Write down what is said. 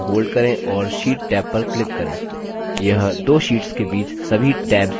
shift की को hold करें और sheet टैब पर click करें